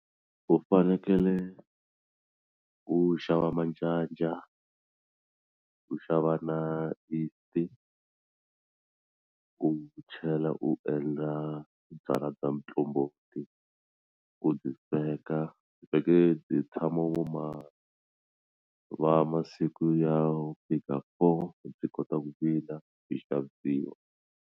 U fanekele u xava manjanja u xava na yeast-i u chela u endla byalwa bya muqombhoti ku byi sweka vhele byi tshama vo ma va masiku ya ku fika four byi kota ku vila byi xavisiwa.